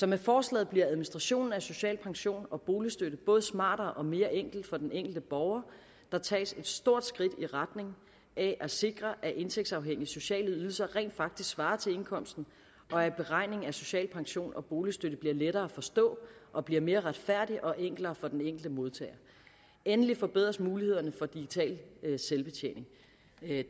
med forslaget bliver administrationen af social pension og boligstøtte både smartere og mere enkel for den enkelte borger der tages et stort skridt i retning af at sikre at indtægtsafhængige sociale ydelser rent faktisk svarer til indkomsten og at beregning af social pension og boligstøtte bliver lettere at forstå og bliver mere retfærdig og enklere for den enkelte modtager endelig forbedres mulighederne for digital selvbetjening